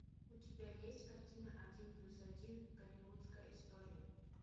у тебя есть картина один плюс один голливудская история